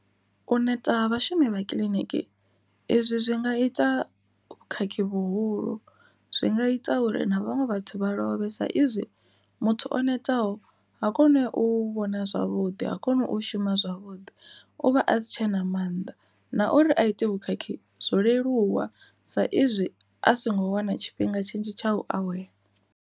U neta ha vhashumi vha kiḽiniki, izwi zwi nga ita vhukhakhi vhuhulu zwi nga ita uri na vhaṅwe vhathu vha lovhe sa izwi muthu o neta ho ha kone u vhona zwavhuḓi ha koni u shuma zwavhuḓi uvha a si tshe na maanḓa, na uri a ite vhukhakhi zwo leluwa sa izwi a songo wana tshifhinga tshinzhi tsha u awela.